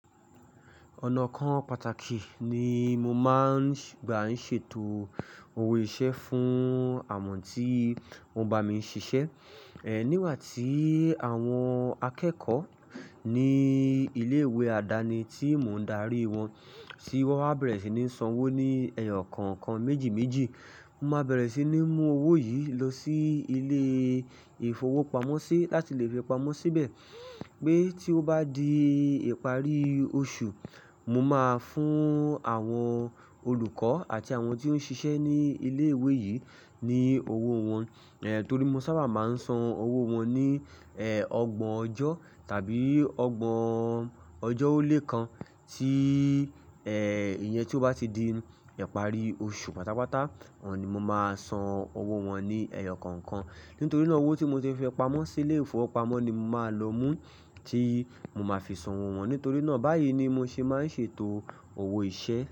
Ọ̀nà kan pàtàkì ni mo máa ń gbà ń ṣètò owó iṣẹ́ fún àmọ́ tí wo ń bá mi ṣiṣẹ́. Nígbà tí àwọn akẹ́kọ̀ọ́ ní ilé ìwé àdáni tí mò ń darí wọn ti wọ́n á bẹ̀rẹ̀ sí ní san owó ní ẹyọ kọ̀ọ̀kan méjì méjì, mo máa bẹ̀rẹ̀ sí ní mú owó yìí lọ sí ilé ìfowópamọ́ sí láti lè fi pamọ́ síbẹ̀. Pé tí ó bá di ìparí oṣù, mo máa fún àwọn olùkọ́ àti àwọn tí ó ń ṣiṣẹ́ ní ilé ìwé yìí ní owó wọn. Torí mo sábà máa ń san owó wọn ní ọgbọ̀n ọjọ́ tàbí ọgbọ̀n ọjọ́ ó lé kan tí ìyẹn tí ó bá ti di ìparí oṣù pátápátá, òun ni mo máa san owó wọn ní ẹyọ kọ̀ọ̀kan. Nítorí náà owó tí mo ti fi pamọ́ sí ilé-ìfowópamọ́ ni mo máa lọ mú tí mo máa fi san owó wọn. Nítorí náà báyìí ni mo ṣe máa ń ṣètò owó iṣẹ́.